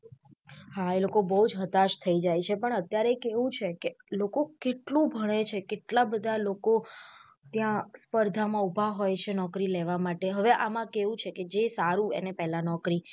હા એ લોકો બઉ જ હતાશ થઇ જાય છે પણ અત્યારે કેવું છે કે લોકો કેટલું ભણે છે કેટલા બધા લોકો ત્યાં સ્પર્ધા માં ઉભા હોય છે નોકરી લેવા માટે હવે આમા કેવું છેકે જે સારું એને પેહલા નોકરી.